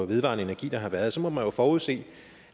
vedvarende energi der har været må man jo forudse